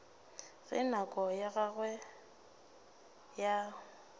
ge nako ya gagwe ya